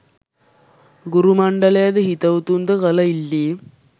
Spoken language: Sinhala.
ගුරු මණ්ඩලයද හිතවතුන්ද කළ ඉල්ලීම්